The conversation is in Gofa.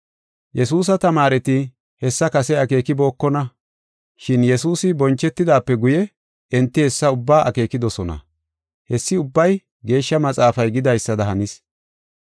Yesuusa tamaareti hessa kase akeekibokona. Shin Yesuusi bonchetidaape guye enti hessa ubbaa akeekidosona. Hessi ubbay Geeshsha Maxaafay gidaysada hanis.